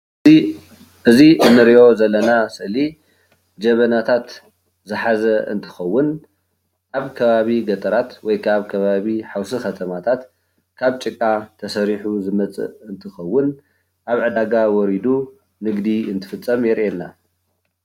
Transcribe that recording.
እዚ እንሪኦ ዘለና ስእሊ ጀበናታት ዝሓዘ እንትከውን ኣብ ከባቢ ገጠራት ወይ ከዓ ኣብ ከባቢ ሓውሲ ከተማታት ካብ ጭቃ ተሰሪሑ ዝመፅእ እንትከውን ኣብ ዒዳጋ ወሪዲ ንግዲ እንትፍፀም የርእየና፡፡